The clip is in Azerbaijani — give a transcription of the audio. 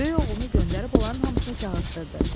Böyük oğlunu göndərib onların hamısını çağırdırdı.